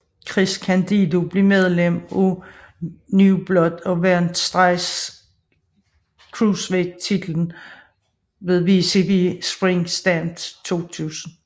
Chris Candido blev medlem af New Blood og vandt straks Cruiserweight titlen ved WCW Spring Stampede 2000